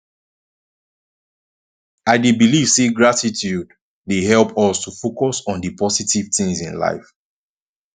i dey believe say gratitude dey help us to focus on di positive things in life